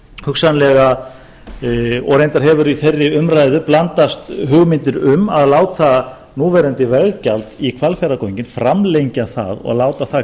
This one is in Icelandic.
hugsanlega og reyndar hefur í þeirri umræðu blandast hugmyndir um að láta núverandi veggjald í hvalfjarðargöngin framlengja það og láta það